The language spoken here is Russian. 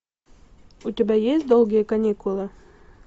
у тебя есть долгие каникулы